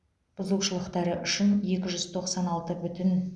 бұзушылықтары үшін екі жүз тоқсан алты бүтін